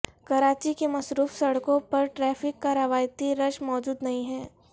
کراچی کی مصروف سڑکوں پر ٹریفک کا روایتی رش موجود نہیں ہے